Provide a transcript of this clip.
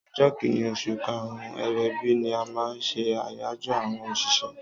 ọjọ kínní osùn karun/ebibi ni a má n ṣe ayajọ awọn oṣiṣẹ.